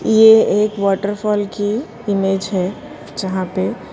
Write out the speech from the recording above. यह एक वॉटरफॉल की इमेज है जहां पर--